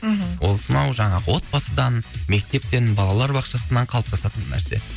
мхм ол сонау жаңағы отбасынан мектептен балалар бақшасынан қалыптасатын нәрсе